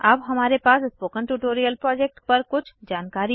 अब हमारे पास स्पोकन ट्यूटोरियल प्रोजेक्ट पर कुछ जानकारी है